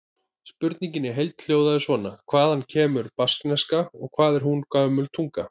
Spurningin í heild hljóðaði svona: Hvaðan kemur baskneska og hvað er hún gömul tunga?